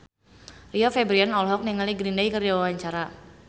Rio Febrian olohok ningali Green Day keur diwawancara